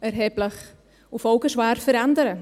erheblich und folgenschwer verändern.